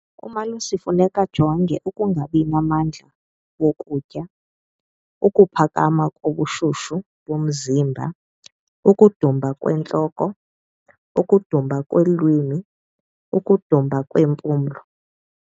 Umalusi funeka ajonge ukungabi namandla wokutya, ukuphakama kobushushu bomzimba, ukudumba kwentloko, ukudumba kwelwimi, ukudumba kweempumlo.